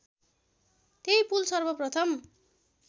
त्यही पुल सर्वप्रथम